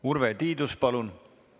Urve Tiidus, palun!